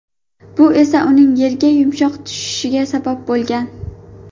Bu esa uning yerga yumshoq tushishiga sabab bo‘lgan.